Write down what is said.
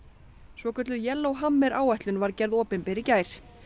svokölluð áætlun var gerð opinber í gær